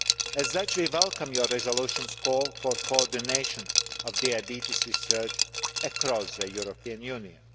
As such, we welcome your resolution's call for coordination of diabetes research across the European Union.